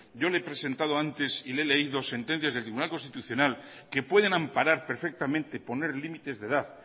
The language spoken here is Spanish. yo le he presentado antes y le he leído sentencias del tribunal constitucional que pueden amparar perfectamente poner límites de edad